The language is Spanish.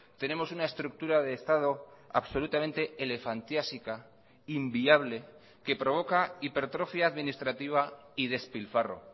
tenemos una estructura de estado absolutamente elefantiásica inviable que provoca hipertrofia administrativa y despilfarro